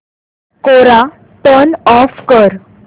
कोरा turn off कर